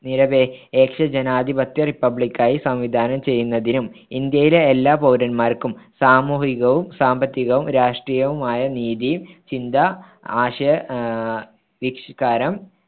നിരപേക്ഷ ജനാധിപത്യ റിപ്പബ്ലിക്കായി സംവിധാനം ചെയ്യുന്നതിനും ഇന്ത്യയിലെ എല്ലാ പൗരന്മാർക്കും സാമൂഹികവും സാമ്പത്തികവും രാഷ്ട്രീയവുമായ നീതി ചിന്ത ആശയ വിഷ്കാരം